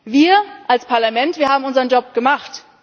Wir als Parlament, wir haben unseren Job gemacht.